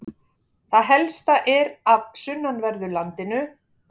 það helsta er af sunnanverðu landinu